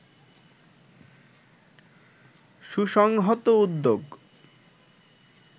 সুসংহত উদ্যোগ